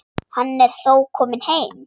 Hann er þó kominn heim.